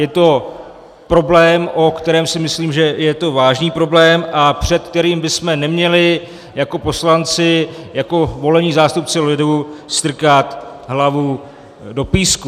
Je to problém, o kterém si myslím, že je to vážný problém, a před kterým bychom neměli jako poslanci, jako volení zástupci lidu, strkat hlavu do písku.